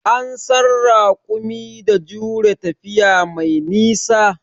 An san raƙumi da jure tafiya mai nisa.